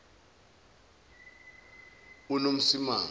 unomsimangu